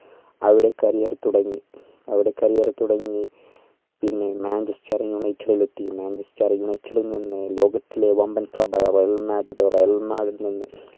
അവിടെ career തുടങ്ങി അവിടെ career തുടങ്ങി പിന്നെ Manchester United ൽ എത്തി Manchester United ൽ നിന്ന് ലോകത്തിലെ വമ്പൻ club ആയ Real madridReal madrid നിന്ന്